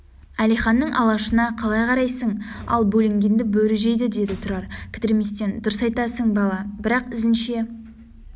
әлиханның алашына қалай қарайсың ал бөлінгенді бөрі жейді деді тұрар кідірместен дұрыс айтасың бала бірақ ізінше